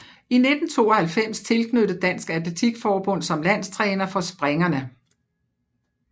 I 1992 tilknyttet Dansk Atletik Forbund som landstræner for springerne